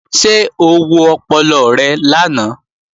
Ṣé o wo ọpọlọ rẹ lánàá?